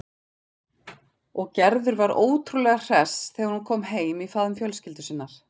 Og Gerður var ótrúlega hress þegar hún kom heim í faðm fjölskyldu sinnar.